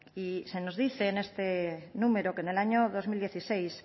y se nos dice en este número que en el año dos mil dieciséis